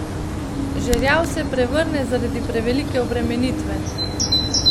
Žerjav se prevrne zaradi prevelike obremenitve.